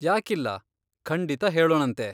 ಯಾಕಿಲ್ಲ, ಖಂಡಿತ ಹೇಳೋಣಂತೆ.